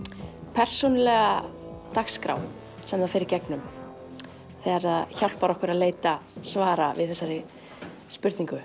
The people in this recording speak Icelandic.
persónulega dagskrá sem það fer í gegnum og hjálpar okkur að leita svara við þessari spurningu